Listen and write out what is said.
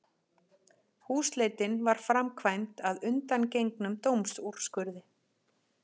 Húsleitin var framkvæmd að undangengnum dómsúrskurði